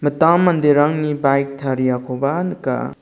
itam manderangni baik tariakoba nika.